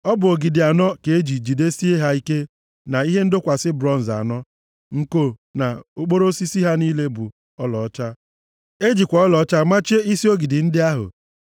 Ọ bụ ogidi anọ ka e ji jidesie ha ike na ihe ndọkwasị bronz anọ, nko na okporo osisi ha niile bụ ọlaọcha. E jikwa ọlaọcha machie isi ogidi ndị ahụ.